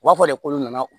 U b'a fɔ de ko nana